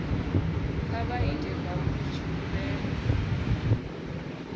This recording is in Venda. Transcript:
kha vha ite zwauri tshivhumbeo